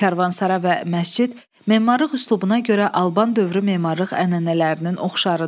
Karvansara və məscid memarlıq üslubuna görə Alban dövrü memarlıq ənənələrinin oxşarıdır.